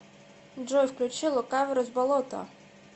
джой включи лукаверос болото